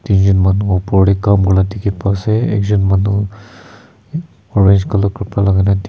tin Jan manu uparte kaam korila dikhi pasa ekjan manu orange colour kapra laga de--